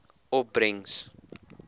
opbrengs